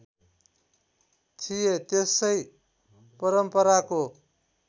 थिए त्यसै परम्पराको